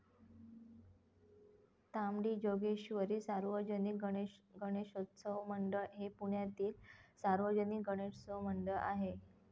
तांबडी जोगेश्वरी सार्वजनिक गणेशोत्सव मंडळ हे पुण्यातील सार्वजनिक गणेशोत्सव मंडळ आहे.